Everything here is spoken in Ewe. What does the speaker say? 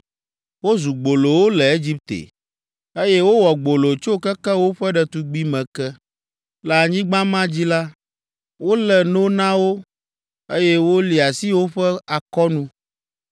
Wozu gbolowo le Egipte, eye wowɔ gbolo tso keke woƒe ɖetugbime ke. Le anyigba ma dzi la, wolé no na wo, eye woli asi woƒe akɔnu.